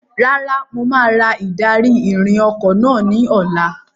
Rárá, mo máa ra ìdarí-ìrìn ọkọ̀ náà ní ọ̀la.